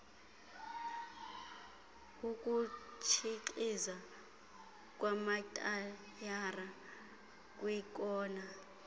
ukutshixiza kwamatayara kwiikona